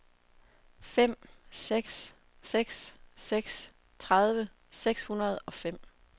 fem seks seks seks tredive seks hundrede og fem